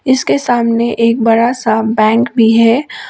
इसके सामने एक बड़ा सा बैंक भी है।